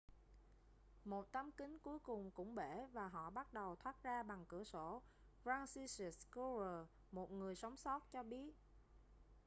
một tấm kính cuối cùng cũng bể và họ bắt đầu thoát ra bằng cửa sổ franciszek kowal một người sống sót cho biết